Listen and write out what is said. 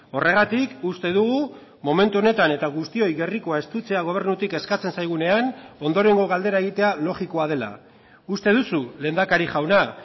horregatik uste dugu momentu honetan eta guztioi gerrikoa estutzea gobernutik eskatzen zaigunean ondorengo galdera egitea logikoa dela uste duzu lehendakari jauna